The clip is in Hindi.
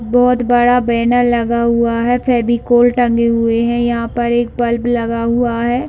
बहुत बड़ा बैनर लगा हुआ है फेविकोल टंगे हुए है यहाँ पर एक बल्ब लगा हुआ है।